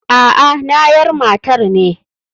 Aa nayar matar ne.